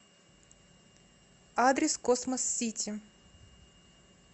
адрес космос сити